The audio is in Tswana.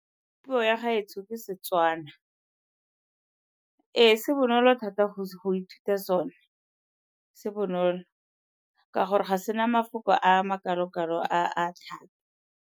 Puo ya gaetsho ke Setswana. Ee, se bonolo thata go ithuta sone. Se bonolo ka gore ga se na mafoko a makalo-kalo a a thata.